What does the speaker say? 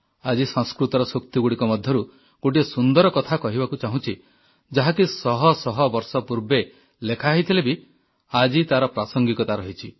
ଆଜି ସଂସ୍କୃତର ସୂକ୍ତିଗୁଡ଼ିକ ମଧ୍ୟରୁ ଗୋଟିଏ ସୁନ୍ଦର କଥା କହିବାକୁ ଚାହୁଁଛି ଯାହାକି ଶହ ଶହ ବର୍ଷ ପୂର୍ବେ ଲେଖା ହୋଇଥିଲେ ମଧ୍ୟ ଆଜି ବି ତାର ପ୍ରାସଙ୍ଗିକତା ରହିଛି